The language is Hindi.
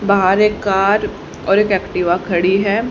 बाहर एक कार और एक एक्टिवा खड़ी है।